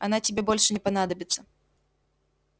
она тебе больше не понадобится